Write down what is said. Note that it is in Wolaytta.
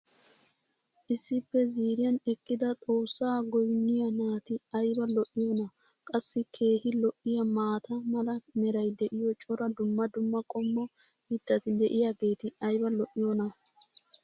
issippe ziiriyan eqqida xoossaa goynniya naati ayba lo'iyoonaa? qassi keehi lo'iyaa maata mala meray diyo cora dumma dumma qommo mitati diyaageti ayba lo'iyoonaa?